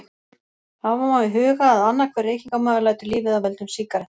hafa má í huga að annar hver reykingamaður lætur lífið af völdum sígaretta